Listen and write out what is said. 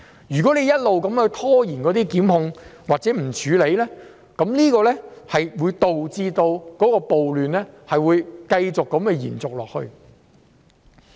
如果一直拖延檢控或不處理，將會導致暴亂繼續延續下去。